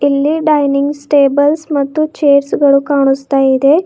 ಇಲ್ಲಿ dining tables ಮತ್ತು chairs ಗಳು ಕಾಣುಸ್ತಾ ಇದೆ.